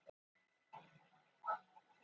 Lát heyra, muldraði hann.